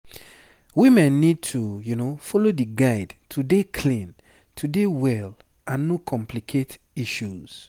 sick pipo dey always wear hand gloves hand gloves and face masks to dey fine and dodge to complicate matter